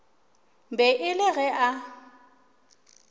be e le ge a